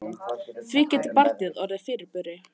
Því getur barnið orðið fyrirburi.